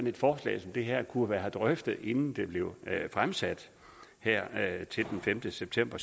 et forslag som det her kunne have været drøftet inden det blev fremsat den femte september